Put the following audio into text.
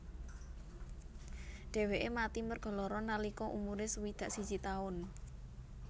Dheweke mati merga lara nalika umure swidak siji taun